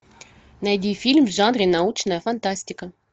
найди фильм в жанре научная фантастика